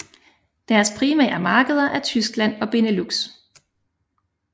Deres primære markeder er Tyskland og Benelux